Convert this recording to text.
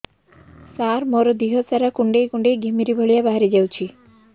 ସାର ମୋର ଦିହ ସାରା କୁଣ୍ଡେଇ କୁଣ୍ଡେଇ ଘିମିରି ଭଳିଆ ବାହାରି ଯାଉଛି